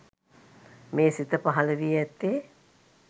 මේ සිත පහළවී ඇත්තේ